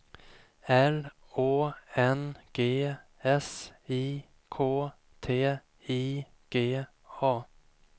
L Å N G S I K T I G A